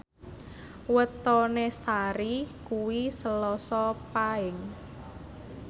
wetone Sari kuwi Selasa Paing